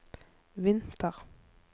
vinter